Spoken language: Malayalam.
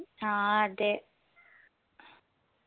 ആ അതെ